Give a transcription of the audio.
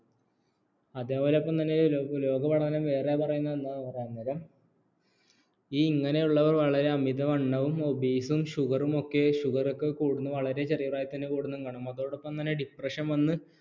അതേപോലെതന്നെ ലോക പഠനം വേറെ പറയുന്നത് എന്താണെന്ന് പറഞ്ഞാൽ ഈ ഇങ്ങനെയുള്ളവർ അമിതവണ്ണവും obese ഉം sugar റും ഒക്കെ sugar ഒക്കെ കൂടുന്നു വളരെ ചെറിയ പ്രായത്തിൽ തന്നെ കൂടുന്നതും കാണാം അതോടൊപ്പം തന്നെ depression വന്ന്